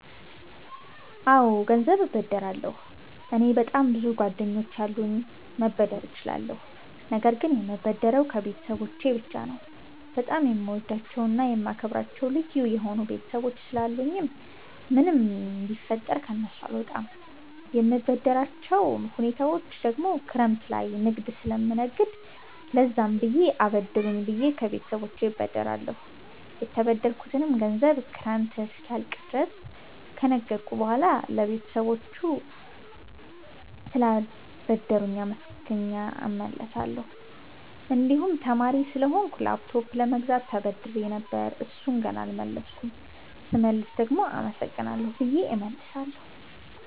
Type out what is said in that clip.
አወ ገንዘብ እበደራለሁ። እኔ በጣም ብዙ ጓደኞች አሉኝ መበደር እችላለሁ ነገር ግን የምበደረው ከቤተሰቦቸ ብቻ ነው። በጣም የምወዳቸውና የማከብራቸው ልዩ የሆኑ ቤተሰቦች ስላሉኝ ምንም ቢፈጠር ከነሱ አልወጣም። የምበደርባቸው ሁኔታወች ደግሞ ክረምት ላይ ንግድ ስለምነግድ ለዛም ብር አበድሩኝ ብየ ከቤተሰቦቸ እበደራለሁ። የተበደርኩትንም ገንዘብ ክረምት እስኪያልቅ ድረስ ከነገድኩ በሁዋላ ለባለቤቶቹ ስላበደሩኝ አመስግኘ እመልሳለሁ። እንድሁም ተማሪ ስለሆንኩ ላፕቶፕ ለመግዛት ተበድሬ ነበር እሡን ገና አልመለስኩም ስመልስ ደግሞ አመሰግናለሁ ብየ እመልሳለሁ።